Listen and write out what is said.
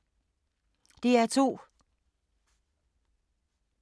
DR2